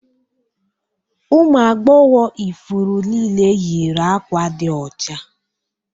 Ụmụ agbọghọ ifuru niile yiri àkwá di ọcha.